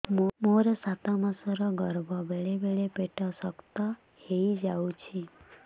ମୋର ସାତ ମାସ ଗର୍ଭ ବେଳେ ବେଳେ ପେଟ ଶକ୍ତ ହେଇଯାଉଛି